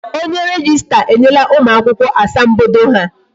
Onye rejista enyela ụmụ akwụkwọ asambodo ha